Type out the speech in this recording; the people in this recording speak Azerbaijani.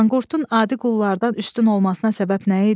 Manqurtun adi qullardan üstün olmasına səbəb nə idi?